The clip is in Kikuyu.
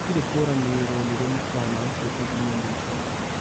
gũtire kũranĩrĩrwo nĩrĩ mũkana ũcio ũgũkinya mũico